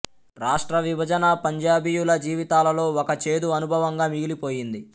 రాష్ట్ర విభజన పంజాబీయుల జీవితాలలో ఒక చేదు అనుభవంగా మిగిలిపోయింది